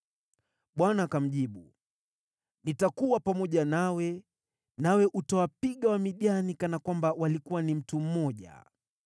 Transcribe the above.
Bwana akamjibu, “Nitakuwa pamoja nawe, nawe utawapiga Wamidiani kana kwamba walikuwa ni mtu mmoja.”